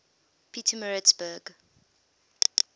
pietermaritzburg